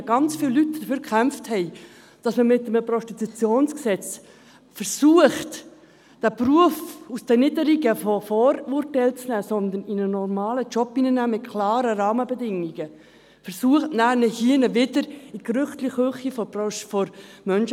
Dies, nachdem hier drin ganz viele Leute dafür gekämpft haben, dass man mit einem Prostitutionsgesetz versucht, diesen Beruf aus den Niederungen der Vorurteile zu holen und zu einem normalen Job mit klaren Rahmenbedingungen hinzuführen.